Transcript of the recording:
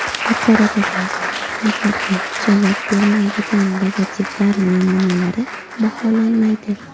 Yuqoridagi talablarga javob bermaydigan logotiplar namunalari baholanmaydi.